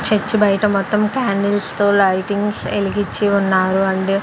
Church బయట మొత్తం candles తో లైటింగ్స్ఏలిగిచ్చి ఉన్నారు అండి.